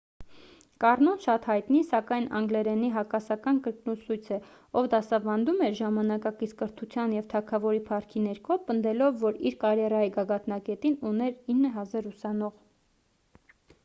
կառնոն շատ հայտնի սակայն անգլերենի հակասական կրկնուսույց է ով դասավանդում էր ժամանակակից կրթության և թագավորի փառքի ներքո պնդելով որ իր կարիերայի գագաթնակետին ուներ 9,000 ուսանող